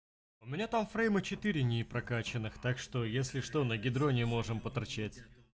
у меня там фрейма четыре не прокаченных так что если что на гидроне можем поторчать